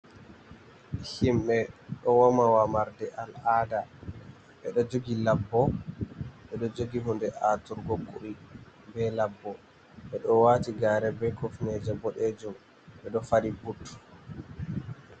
Himɓe ɗo woma womarde al'ada ɓeɗo jogi labbo ɓeɗo jogi hunde aturgo kuɗi be labbo ɓeɗo wati gaare be kofneje boɗejum ɓeɗo fadi but.